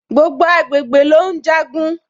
Gbogbo agbègbè ló ùn jagun